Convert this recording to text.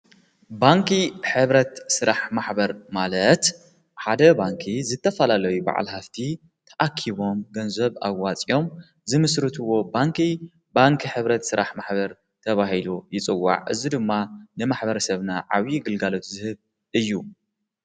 ባንኪ ሕብረት ሥራሕ ማሕበር ማለት፣ ሓደ ባንኪ ዝተፋላለይ በዓል ሃፍቲ ተኣኪቦም ገንዘብ ኣዋፂኦም ዝምስርትዎ ባንኪ፣ ባንኪ ኅብረት ሥራሕ ማሕበር ተብሂሉ ይጽዋዕ። እዝ ድማ ንማኅበር ሰብና ዓብዪ ግልጋሎት ዝህብ እዩ።